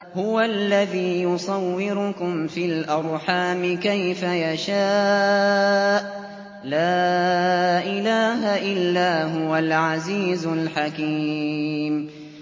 هُوَ الَّذِي يُصَوِّرُكُمْ فِي الْأَرْحَامِ كَيْفَ يَشَاءُ ۚ لَا إِلَٰهَ إِلَّا هُوَ الْعَزِيزُ الْحَكِيمُ